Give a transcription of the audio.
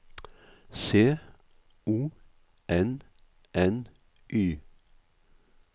C O N N Y